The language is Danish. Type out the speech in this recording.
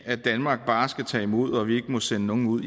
at danmark bare skal tage imod og at vi ikke må sende nogen ud